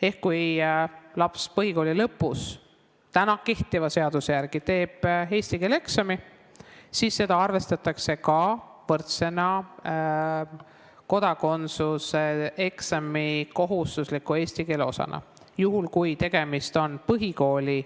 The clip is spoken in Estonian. Ehk kui laps kehtiva seaduse järgi teeb põhikooli lõpus eesti keele eksami, siis seda arvestatakse ka kodakondsuse eksami kohustusliku osana, juhul kui tegemist on põhikooli